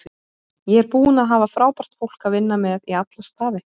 Ég er búinn að hafa frábært fólk að vinna með í alla staði.